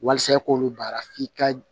Walasa i k'olu baara f'i ka